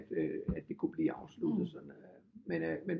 At øh at det kunne blive afsluttet sådan at men øh men